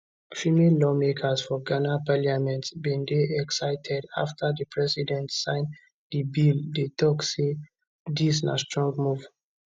female lawmakers for ghana parliament bin dey excited afta di president sign di bill dey tok say dis na strong move